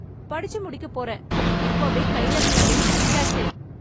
படிச்சு முடிக்க போறேன், இப்போவே கைல வேலையும் கிடைச்சாச்சு.